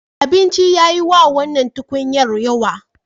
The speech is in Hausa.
Abincin ya yi wa wannan tukunyar yawa.